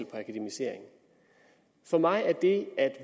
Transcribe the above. på akademisering for mig er det at